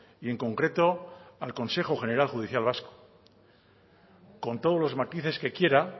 y en concreto al consejo general judicial vasco con todos los matices que quiera